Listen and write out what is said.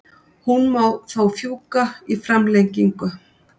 Hún má þó fjúka í framlengingu.